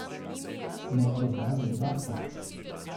Morda zaradi udarca?